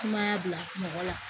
Sumaya bila mɔgɔ la